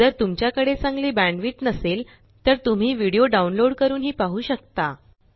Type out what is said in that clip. जर तुमच्या कडे चांगली बॅण्डविड्थ नसेल तर तुम्ही डाउनलोड करूनही पाहु शकता